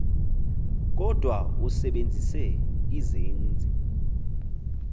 kodwa usebenzise izenzi